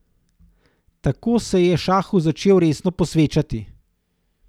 Tako se je šahu začel resno posvečati.